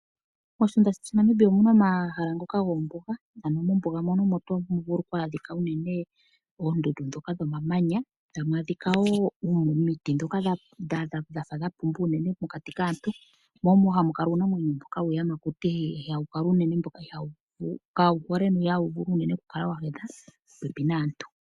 Moshilongo shetu Namibia omuna omahala ngoka gombuga ano mombuga mono omo tamu adhika unene oondundu ndhoka dho mamanya tamu adhika woo omiti ndhoka dhafa dha pumba unene pokati kaantu ,mo omo moka hamu kala uunamwenyo mboka wuuyamakuti mboka kawu hole no ihawu vulu unene okukala wa hedha po pepi naantu.